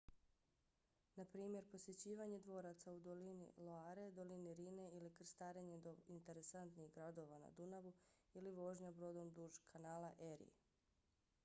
naprimjer posjećivanje dvoraca u dolini loire dolini rhine ili krstarenje do interesantnih gradova na dunavu ili vožnja brodom duž kanala erie